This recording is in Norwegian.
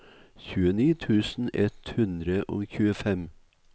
tjueni tusen ett hundre og tjuefem